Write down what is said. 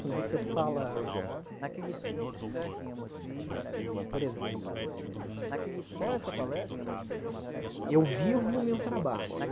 Quando você fala, eh por exemplo, eh se eu eu vivo o meu trabalho, né?